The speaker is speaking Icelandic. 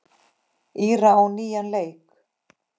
Íra á nýjan leik.